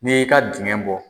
N'i y'i ka dingɛ bɔ.